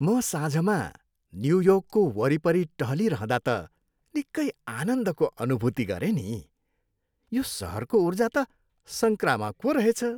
म साँझमा न्युयोर्कको वरिपरि टहलिरहँदा त निक्कै आनन्दको अनुभुति गरेँ नि। यो सहरको ऊर्जा त सङ्क्रामक पो रहेछ।